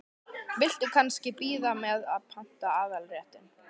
Viltu kannski bíða með að panta aðalréttina?